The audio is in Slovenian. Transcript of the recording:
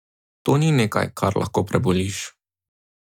To ni nekaj, kar lahko preboliš.